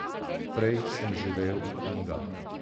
Prej sem živel v knjigah.